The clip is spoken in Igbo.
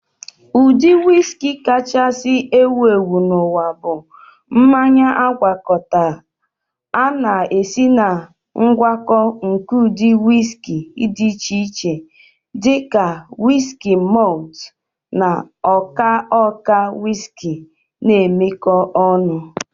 Ụdị whiski kachasị ewu ewu n'ụwa bụ mmanya agwakọta. A na-esi na ngwakọta nke ụdị whiskey dị iche iche, dị ka wiski malt na ọka ọka whiski na-emekọ ọnụ